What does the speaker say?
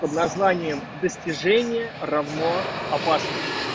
под названием достижение равно опасность